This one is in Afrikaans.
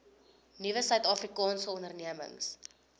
nuwe suidafrikaanse ondernemings